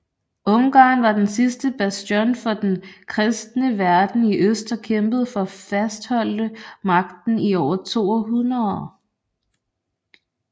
Ungarn var den sidste bastion for den kristne verden i øst og kæmpede for fastholde magten i over to århundreder